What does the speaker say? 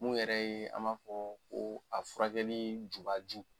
Mun yɛrɛ ye a maa fɔ ko a furakɛli jubaju.